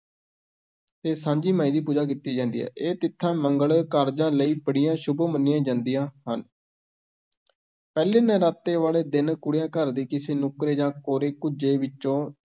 ਤੇ ਸਾਂਝੀ ਮਾਈ ਦੀ ਪੂਜਾ ਕੀਤੀ ਜਾਂਦੀ ਹੈ, ਇਹ ਤਿਥਾਂ ਮੰਗਲ ਕਾਰਜਾਂ ਲਈ ਬੜੀਆਂ ਸ਼ੁੱਭ ਮੰਨੀਆਂ ਜਾਂਦੀਆਂ ਹਨ ਪਹਿਲੇ ਨਰਾਤੇ ਵਾਲੇ ਦਿਨ ਕੁੜੀਆਂ, ਘਰ ਦੀ ਕਿਸੇ ਨੁੱਕਰੇ ਜਾਂ ਕੋਰੇ ਕੁੱਜੇ ਵਿੱਚੋਂ